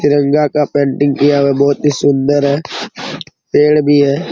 तिरंगा का पेंटिंग किया हुआ बहुत ही सुंदर है पेड़ भी है।